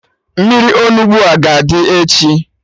Mmiri Onugbu a ga-adị echi?